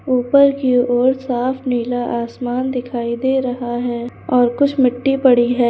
ऊपर की ओर साफ नीला आसमान दिखाई दे रहा है और कुछ मिट्टी पड़ी है।